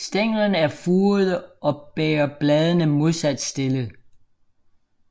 Stænglerne er furede og bærer bladene modsat stillet